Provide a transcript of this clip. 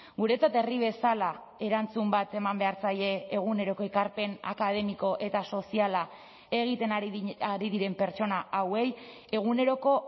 guretzat herri bezala erantzun bat eman behar zaie eguneroko ekarpen akademiko eta soziala egiten ari diren pertsona hauei eguneroko